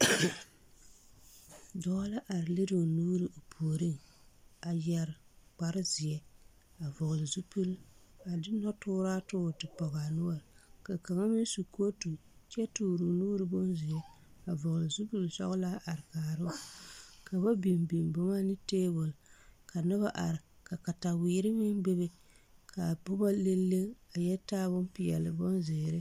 Dɔɔ la are liroo nuure o puoriŋ a yɛre kparezeɛ a vɔgle zupil a de nɔtooraa toore ti pɔgaa noɔre ka kaŋa meŋ su kootu kyɛ tooroo nuure bonzeɛ a vɔgle zupilsɔglaa a are kaaroo ka ba biŋ biŋ boma ne tabol ka nobɔ are ka katawirre meŋ bebe kaa pɔgɔ leŋ leŋ a yɛ taa bonpeɛle bonzeere.